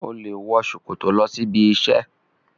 O le wọ ṣòkòtò lọ sí ibi isẹ.